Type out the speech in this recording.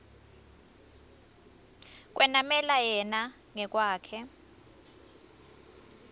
kwenanela yena ngekwakhe